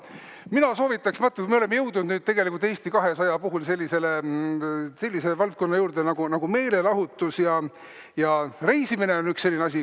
Mina soovitaks, vaat me oleme jõudnud tegelikult Eesti 200 puhul sellise valdkonna juurde nagu meelelahutus, ja reisimine on üks selline asi.